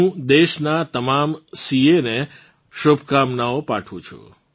હું દેશનાં તમામ સીએએસ ને શુભકામનાઓ પાઠવું છું